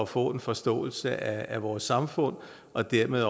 få en forståelse af vores samfund og dermed